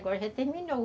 Agora já terminou.